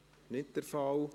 – Dies ist nicht der Fall.